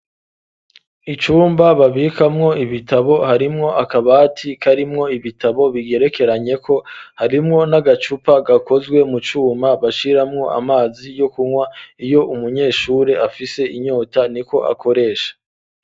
Icumba babikamwo ibitabo harimwo akabati karimwo ibitabo bigerekeranye ko harimwo n'agacupa gakozwe mu cuma bashiramwo amazi yo kunwa iyo umunyeshuri afise inyota niko akoresha .